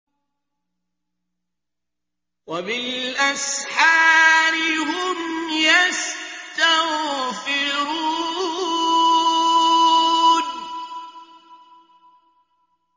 وَبِالْأَسْحَارِ هُمْ يَسْتَغْفِرُونَ